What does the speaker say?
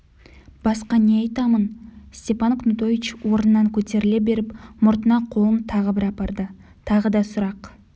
басқа не айтамын степан кнутович орнынан көтеріле беріп мұртына қолын тағы бір апарды тағы да сұрақ